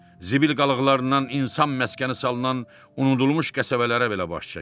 Zibil qalıqlarından insan məskəni salınan unudulmuş qəsəbələrə belə baş çəkdi.